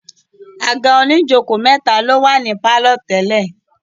àga oníjòkó mẹ́ta ló wà ní pálọ̀ tẹ́lẹ̀.